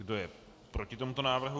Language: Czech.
Kdo je proti tomuto návrhu?